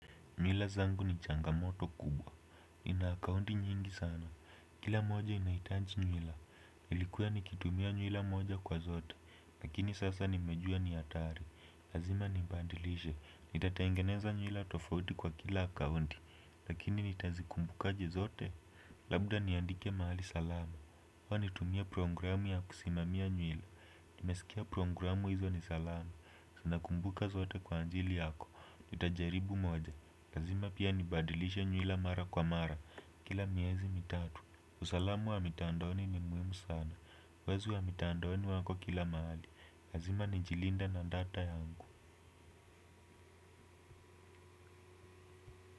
Nywila zangu ni changamoto kubwa, ni na akaunti nyingi sana, kila moja inahitaji nywila nilikuwa nikitumia nywila moja kwa zote, lakini sasa nimejua ni hatari. Lazima nibadilishe, nitatangeneza nywila tofauti kwa kila akaunti, lakini nitazikumbuka je zote. Labda niandike mahali salama, amanitumie programu ya kusimamia nywila. Nimesikia programu hizo ni salama, zinakumbuka zote kwa ajili yako. Tutajaribu moja lazima pia nibadilisha nywila mara kwa mara. Kila miezi mitatu. Usalama wa mitandaoni ni muhimu sana. Wezi wa mitandaoni wako kila mahali lazima ni jilinde na data yangu.